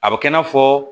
A bɛ kɛ i n'a fɔ